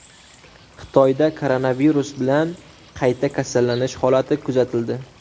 Xitoyda koronavirus bilan qayta kasallanish holati kuzatildi.